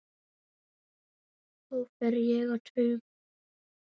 Þá fer ég á taugum.